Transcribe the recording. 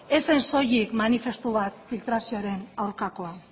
ez zen soilik manifestu bat filtrazioaren aurkakoa